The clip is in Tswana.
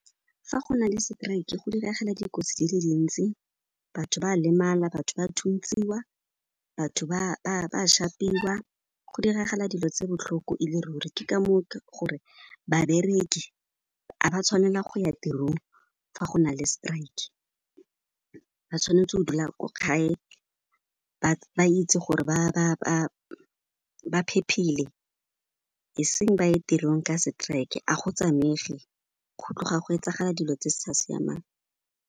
Fa go na le seteraeke, go diragala dikotsi di le dintsi, batho ba lemala, batho ba thuntsiwa, batho ba šapiwa, go diragala dilo tse botlhoko ele ruri. Ke ka moo ke gore babereki ga ba tshwanela go ya tirong fa go na le strike, ba tshwanetse go dula ko gae, ba itse gore ba phephile, eseng ba ye tirong ka seteraeke, a go tsamaege, go tloga go etsagala dilo tse sa siamang.